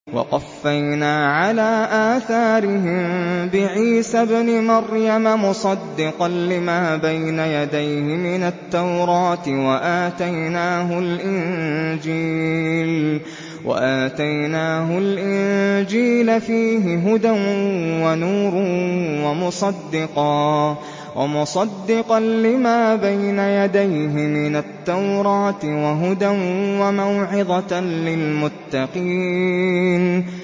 وَقَفَّيْنَا عَلَىٰ آثَارِهِم بِعِيسَى ابْنِ مَرْيَمَ مُصَدِّقًا لِّمَا بَيْنَ يَدَيْهِ مِنَ التَّوْرَاةِ ۖ وَآتَيْنَاهُ الْإِنجِيلَ فِيهِ هُدًى وَنُورٌ وَمُصَدِّقًا لِّمَا بَيْنَ يَدَيْهِ مِنَ التَّوْرَاةِ وَهُدًى وَمَوْعِظَةً لِّلْمُتَّقِينَ